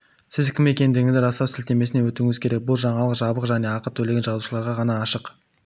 сіз кім екендігіңізді растау сілтемесіне өтуіңіз керек бұл жаңалық жабық және ақы төлеген жазылушыларға ғана ашық